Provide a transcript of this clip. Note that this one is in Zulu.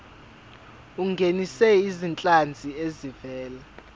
ungenise izinhlanzi ezivela